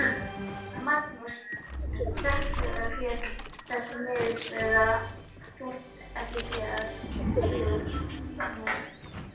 Magnúsi hreppstjóra féll þessi niðurstaða þungt ekki síður en mér.